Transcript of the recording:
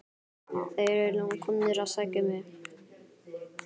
Þeir eru komnir að sækja mig.